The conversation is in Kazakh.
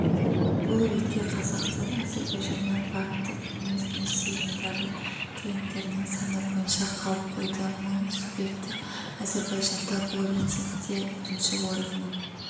бұл ретте қазақстан әзірбайжаннан банктік емес несие ұйымдары клиенттерінің саны бойынша қалып қойды мың субъекті әзірбайжанда бұл рейтингте бірінші орын мың